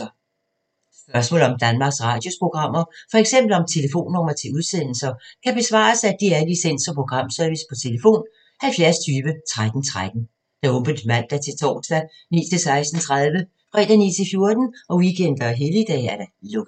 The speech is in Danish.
Spørgsmål om Danmarks Radios programmer, f.eks. om telefonnumre til udsendelser, kan besvares af DR Licens- og Programservice: tlf. 70 20 13 13, åbent mandag-torsdag 9.00-16.30, fredag 9.00-14.00, weekender og helligdage: lukket.